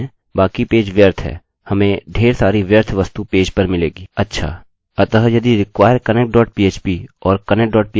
अच्छा अतः यदि require connect dot php और connect dot php के अंदर हमें चाहिए कि अपने php mysql फंक्शन्सfunctions प्रारंभ करें